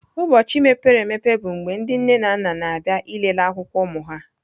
Ụbọchị mepere emepe bụ mgbe ndị nne na nna na-abịa ịlele akwụkwọ ụmụ ha.